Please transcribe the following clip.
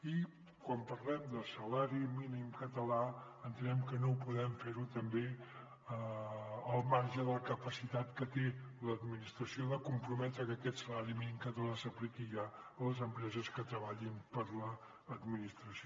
i quan parlem de salari mínim català entenem que no podem fer·ho també al mar·ge de la capacitat que té l’administració de comprometre que aquest salari mínim català s’apliqui ja a les empreses que treballin per a l’administració